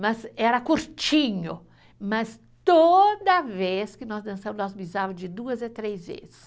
Mas era curtinho, mas toda vez que nós dançávamos, nós de duas a três vezes.